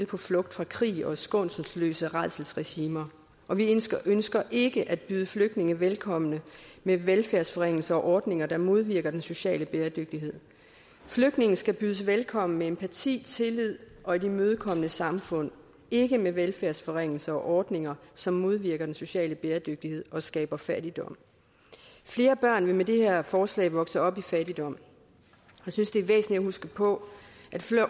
på flugt fra krig og skånselsløse rædselsregimer og vi ønsker ønsker ikke at byde flygtninge velkommen med velfærdsforringelser og ordninger der modvirker den sociale bæredygtighed flygtninge skal bydes velkommen med empati tillid og et imødekommende samfund ikke med velfærdsforringelser og ordninger som modvirker den sociale bæredygtighed og skaber fattigdom flere børn vil med det her forslag vokse op i fattigdom jeg synes det er væsentligt at huske på at